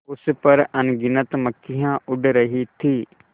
उस पर अनगिनत मक्खियाँ उड़ रही थीं